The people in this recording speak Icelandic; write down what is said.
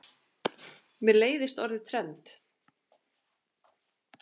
Mér leiðist orðið trend.